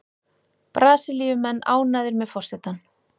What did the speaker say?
Brasilíumenn ánægðir með forsetann